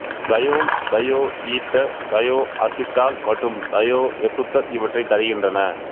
தயோல் thioether thioacetal மற்றும் thioester இவற்றைத் தருகின்றன